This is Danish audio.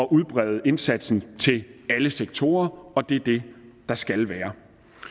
udbrede indsatsen til alle sektorer og det er det der skal være